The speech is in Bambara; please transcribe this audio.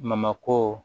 Mamako